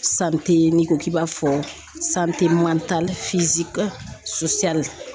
n'i ko k'i b'a fɔ